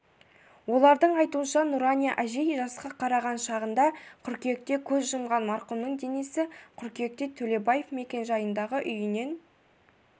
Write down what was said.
олардың айтуынша нұрания әжей жасқа қараған шағында қыркүйекте көз жұмған марқұмның денесі қыркүйекте төлебаев мекенжайындағы үйінен